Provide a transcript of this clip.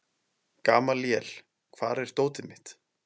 Gamalíel, hvar er dótið mitt?